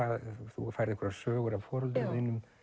þú færð einhverjar sögur af foreldrum þínum